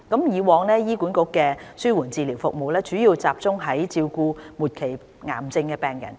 以往，醫管局的紓緩治療服務主要集中照顧末期癌症病人。